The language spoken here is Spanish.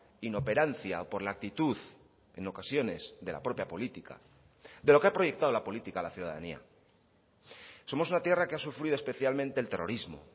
inoperancia o por la actitud en ocasiones de la propia política de lo que ha proyectado la política a la ciudadanía somos una tierra que ha sufrido especialmente el terrorismo